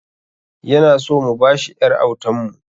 Yana so mu ba shi ƴar autan mu